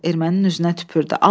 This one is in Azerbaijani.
Ermənin üzünə tüpürdü.